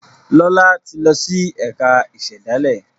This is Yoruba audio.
Lọla tí lọ sì ẹka ìsèdálè.